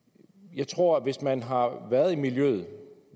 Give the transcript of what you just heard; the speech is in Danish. jeg tror at hvis man har været i miljøet